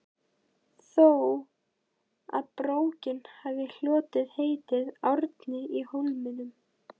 þó að bókin hafi hlotið heitið Árni í Hólminum.